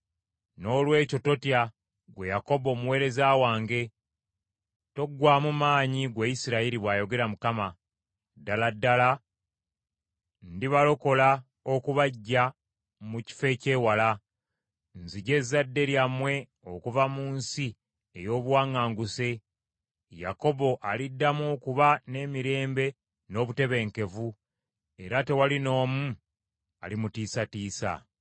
“ ‘Noolwekyo totya, ggwe Yakobo omuweereza wange, toggwaamu maanyi ggwe Isirayiri,’ bw’ayogera Mukama . ‘Ddala ddala ndibalokola okubaggya mu kifo eky’ewala, nziggye ezzadde lyammwe okuva mu nsi ey’obuwaŋŋanguse. Yakobo aliddamu okuba n’emirembe n’obutebenkevu, era tewali n’omu alimutiisatiisa.